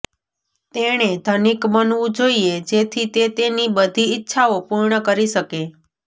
તેણે ધનિક બનવું જોઈએ જેથી તે તેની બધી ઇચ્છાઓ પૂર્ણ કરી શકે